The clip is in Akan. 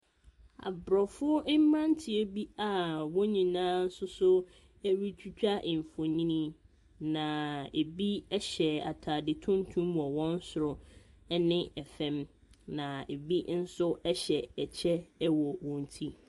Aborɔfo mmeranteɛ bi a wɔn nyinaa nso so retwitwa mfonini, na ebi hyɛ atade tuntum wɔ wɔn soro ne fam, na ebi nso hyɛ kyɛ wɔ wɔn ti.